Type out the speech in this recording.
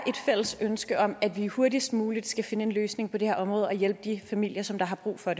fælles ønske om at vi hurtigst muligt skal finde en løsning på det her område og hjælpe de familier som har brug for